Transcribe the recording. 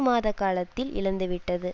மாத காலத்தில் இழந்துவிட்டது